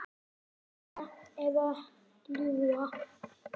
Lofa eða ljúga?